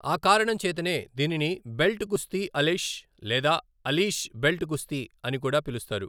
ఆ కారణం చేతనే దీనిని 'బెల్ట్ కుస్తీ అలిష్' లేదా 'అలీష్ బెల్ట్ కుస్తీ ' అని కూడా పిలుస్తారు.